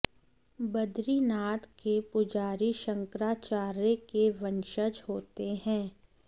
बद्रीनाथ के पुजारी शंकराचार्य के वंशज होते हैं